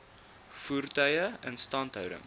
voertuie instandhouding